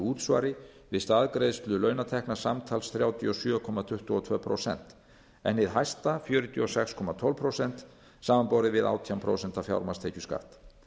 útsvari við staðgreiðslu launatekna samtals þrjátíu og sjö komma tuttugu og tvö prósent en hið hæsta fjörutíu og sex komma tólf prósent samanborið við átján prósent fjármagnstekjuskatt